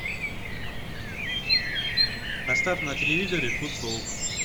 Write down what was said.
поставь на телевизоре футбол